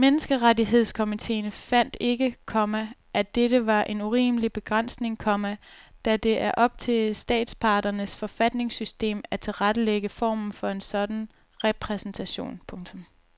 Menneskerettighedskomiteen fandt ikke, komma at dette var en urimelig begrænsning, komma da det er op til statsparternes forfatningssystem at tilrettelægge formen for en sådan repræsentation. punktum